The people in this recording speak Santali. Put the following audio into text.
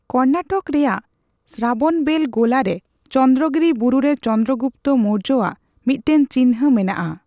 ᱠᱚᱨᱱᱟᱴᱚᱠ ᱨᱮᱭᱟᱜ ᱥᱨᱟᱵᱚᱱᱵᱮᱹᱞ ᱜᱳᱞᱟ ᱨᱮ ᱪᱚᱱᱫᱨᱚᱜᱤᱨᱤ ᱵᱩᱨᱩ ᱨᱮ ᱪᱚᱱᱫᱨᱚ ᱜᱩᱯᱛᱚ ᱢᱳᱣᱨᱡᱚᱣᱟᱜ ᱢᱤᱫᱴᱟᱝ ᱪᱤᱱᱦᱟᱹ ᱢᱮᱱᱟᱜᱼᱟ ᱾